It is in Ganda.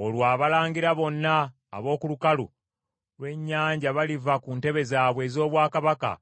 Olwo abalangira bonna ab’oku lukalu lw’ennyanja baliva ku ntebe zaabwe ez’obwakabaka